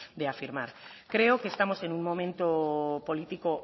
de afirmar creo que estamos en un momento político